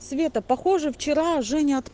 света похоже вчера женя